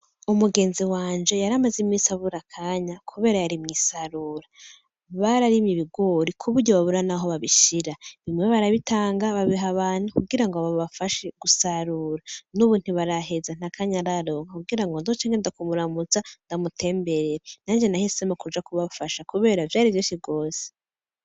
Umugenzi wanje yari amaze imisi abura akanya kubera yari mw'isaruro. Bararimye ibigori kuburyo babura naho babishira. Bimwe barabitanga babiha abantu kugira ngo babafashe gusarura. Nubu ntibaheza ntakanya araronka kugira ngo nzoce ngenda kumuramutsa ndamutembere. Nanje nahisemo kuja kubafasha kubera vyari vyinshi gose.